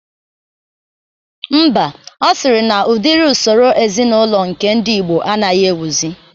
Mba, ọ sịrị na udiri usoro ezinaụlọ nke ndi igbo anaghị ewuzi